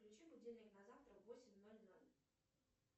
включи будильник на завтра в восемь ноль ноль